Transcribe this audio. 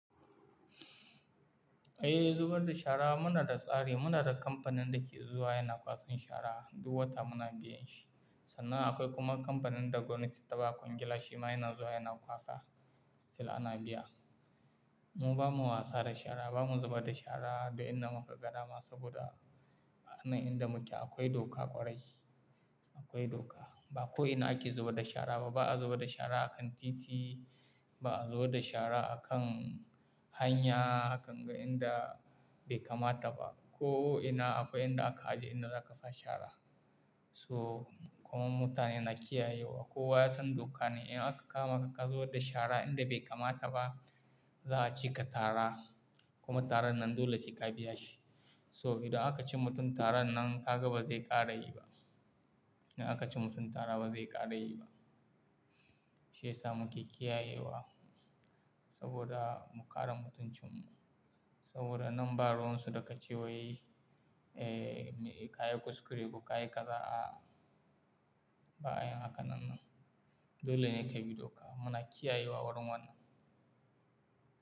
Eh, zubar da shara muna da tsari. Muna da kamfanin da ke zuwa yana kwasan shara. Duk wata muna biyan shi. Sannan akwai kuma kamfanin da gwamnati ta ba kwangila shima yana zuwa yana kwasa. Sai ana biya. Mu ba mu wasa da shara, ba mu zuba da shara duk inda magani dama saboda a nan inda muke akwai doka ƙwarai akwai doka. Ba ko ina ake zuba da shara ba. Ba a zuba da shara a kan titi, ba a zuba da shara a kan hanya, hakan ga inda bai kamata ba. Ko ina akwai inda aka aje inda za ka sa shara. So, kuma mutane na kiyayewa. Ko waye ya san doka ne in aka kama ka ka zuba da shara inda bai kamata ba, za a cika tara kuma taran nan dole sai ka biya shi. So, idan aka ci mutum tara nan, ka gaba zai ƙara yi ba. In aka ci mutum tara ba zai ƙara yi ba. Shi yasa muke kiyayewa saboda mu kare mutuncin mu. Saboda nan baroin su da ka ci waye, ka yi kuskure ku ka yi kaza'a ba'a yi hakan nan. Dole ne ka bi doka. Muna kiyayewa warin wannan.